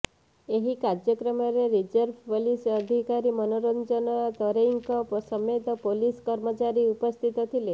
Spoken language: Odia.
ଏହି କାର୍ଯ୍ୟକ୍ରମରେ ରିଜର୍ଭ ପୋଲିସ ଅଧିକାରୀ ମନୋରଞ୍ଜନ ତରେଇଙ୍କ ସମେତ ପୁଲିସ କର୍ମଚାରୀ ଉପସ୍ଥିତ ଥିଲେ